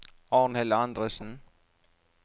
Arnhild Andresen